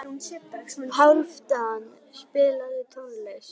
Hálfdan, spilaðu tónlist.